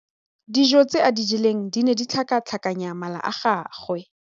Dijô tse a di jeleng di ne di tlhakatlhakanya mala a gagwe.